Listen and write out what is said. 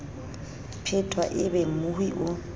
phetwa e be mmohi o